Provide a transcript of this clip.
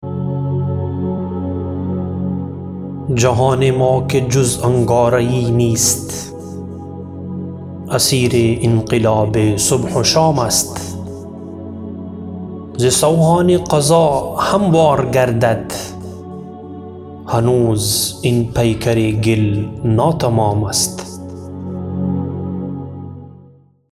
جهان ما که جز انگاره یی نیست اسیر انقلاب صبح و شام است ز سوهان قضا هموار گردد هنوز این پیکر گل ناتمام است